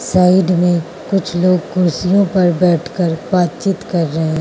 Side में कुछ लोग कुर्सियों पर बैठकर बातचीत कर रहे हैं।